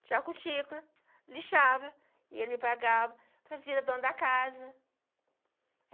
Tirava cutícula, lixava e ele me pagava, fazia da dona da casa.